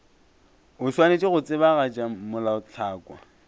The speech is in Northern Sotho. o swanetše go tsebagatša melaotlhakwa